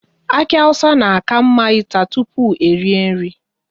Aki awụsa na ka mma ịta tụpụ erie nri